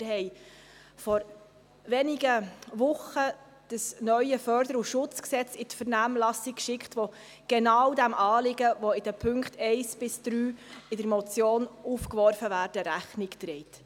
Wir haben vor wenigen Wochen das neue FSG in die Vernehmlassung geschickt, welches genau diesem Anliegen, das in den Punkten 1–3 der Motion aufgeworfen wird, Rechnung trägt.